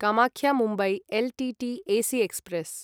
Kamakhya Mumbai L T T AC express